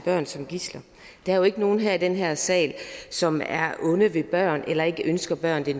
børn som gidsler der er jo ikke nogen i den her sal som er onde ved børn eller ikke ønsker børn det